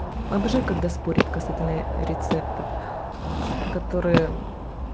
когда спорят касательная рецептов которые